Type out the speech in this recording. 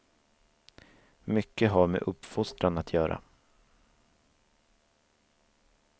Mycket har med uppfostran att göra.